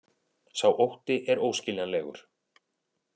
Sá ótti er óskiljanlegur